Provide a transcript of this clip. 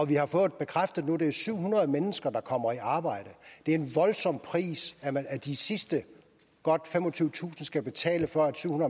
vi har fået bekræftet nu at det er syv hundrede mennesker der kommer i arbejde det er en voldsom pris de sidste godt femogtyvetusind skal betale for at syv